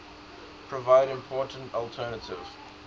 provide important alternative